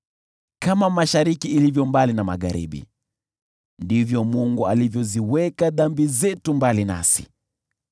kama mashariki ilivyo mbali na magharibi, ndivyo Mungu alivyoziweka dhambi zetu mbali nasi.